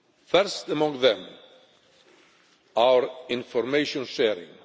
First among them our information sharing.